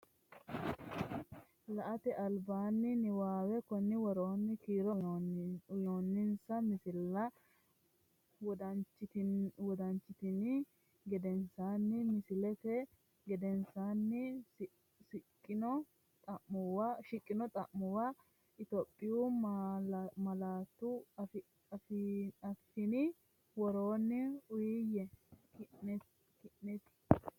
La”ate albiidi niwaawe Konni woroonni kiiro uyinoonninsa misilla wodanchitini gedensaanni misillate gedensaanni siqqino xa’muwa Itophiyu malaatu afiinni dawaro uuyye, konneeti?